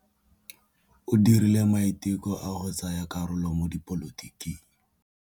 O dirile maitekô a go tsaya karolo mo dipolotiking.